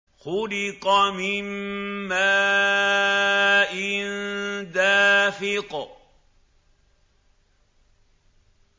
خُلِقَ مِن مَّاءٍ دَافِقٍ